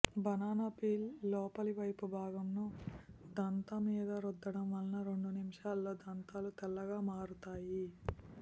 banana peel లోపలి వైపు బాగంను దంతా మీద రుద్దడం వల్ల రెండు నిముషాల్లో దంతాలు తెల్లగా మారుతాయి